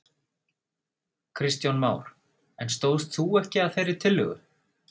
Kristján Már: En stóðst þú ekki að þeirri tillögu?